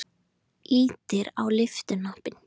Ýtir á lyftuhnappinn.